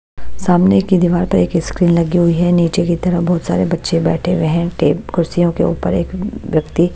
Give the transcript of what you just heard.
सामने की दीवार पर एक स्क्रीन लगी हुई है नीचे की तरफ बहुत सारे बच्चे बैठे हुए हैं टेप कुर्सियों के ऊपर एक व्यक्ति--